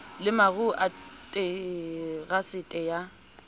le maruo a terasete ya